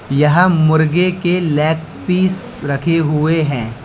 यहाँ मुर्गी के लेग पीस रखे हुए हैं।